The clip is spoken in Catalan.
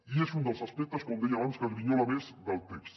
i és un dels aspectes com deia abans que grinyola més del text